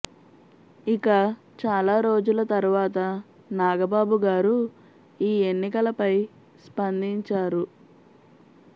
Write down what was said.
ఇక చాలా రోజుల తరువాత నాగబాబు గారు ఈ ఎన్నికలపై స్పందించారు